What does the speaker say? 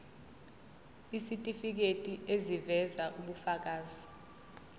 isitifiketi eziveza ubufakazi